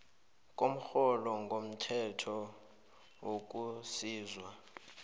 komrholo ngokomthetho wokusizwa